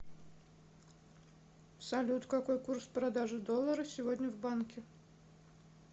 салют какой курс продажи доллара сегодня в банке